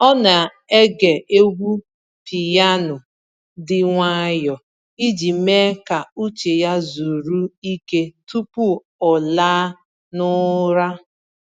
Ọ na-ege egwu piyano dị nwayọọ iji mee ka uche ya zuru ike tupu ọ laa n’ụra.